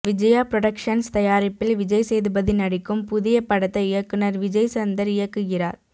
Vijaya productions தயாரிப்பில் விஜய் சேதுபதி நடிக்கும் புதிய படத்தை இயக்குனர் விஜய் சந்தர் இயக்குகிறார்